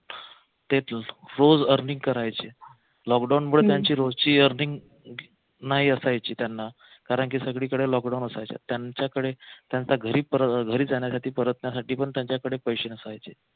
तिथून रोज earning करायचे लॉकडाउन मुळे त्यांची रोजची earning नाही असायची त्यांना कारंकी सगळीकडे लॉकडाउन असायचं त्यांच्याकडे त्यांच्या घरी जाण्यासाठी परत त्यासाठी पण त्यांच्याकडे पैसे नसायचे